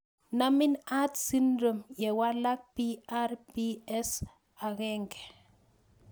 Namin Art syndrome ye walak PRPS1